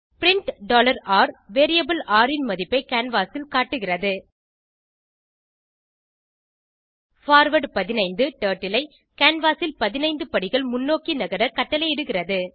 print r variable ர் ன் மதிப்பை கேன்வாஸ் ல் காட்டுகிறது பார்வார்ட் 15 டர்ட்டில் ஐ கேன்வாஸ் ல் 15 படிகள் முன்னோக்கி நகர கட்டளையிடுகிறது